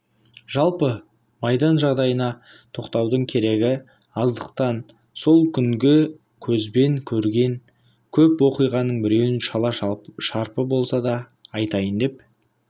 жалпы майдан жағдайына тоқтаудың керегі аздықтан сол күнгі көзбен көрген көп оқиғаның біреуін шала-шарпы болса да айтайын деп